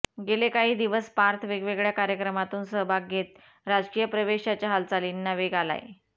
गेले काही दिवस पार्थ वेगवेगळ्या कार्यक्रमातून सहभाग घेत राजकीय प्रवेशाच्या हालचालींना वेग आलाय